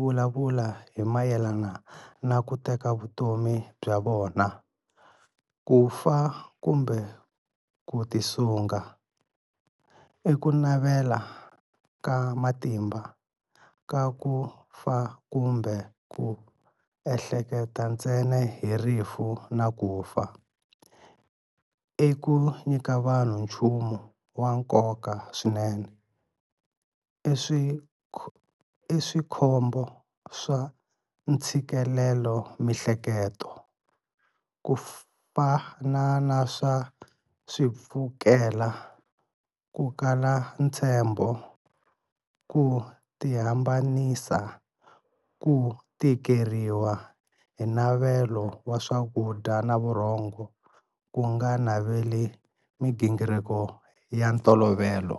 vulavula hi mayelana na ku teka vutomi bya vona, ku fa kumbe ku tisunga. l Ku navela ka matimba ka ku fa kumbe ku ehleketa ntsena hi rifu na ku fa. l Ku nyika vanhu nchumu wa nkoka swinene. l Swikombo swa ntshikelelamiehleketo, ku fana swa swipfukela, ku kala ntshembo, ku tihambanisa, ku tikeriwa hi navelo wa swakudya na vurhongo, ku nga naveli migingiriko ya ntolovelo.